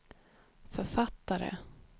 författare